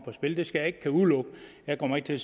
spil det skal jeg ikke udelukke jeg kommer ikke til at